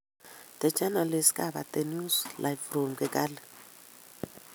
The journalist covered the news live from Kigali.